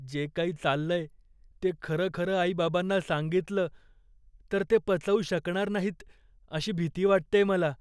जे काही चाललंय ते खरंखरं आई बाबांना सांगितलं तर ते पचवू शकणार नाहीत अशी भीती वाटतेय मला.